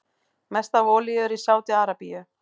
Mest af olíu er í Sádi-Arabíu.